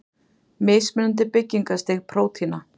Mismunandi byggingarstig prótína.